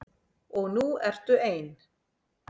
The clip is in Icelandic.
Og nú ertu ein.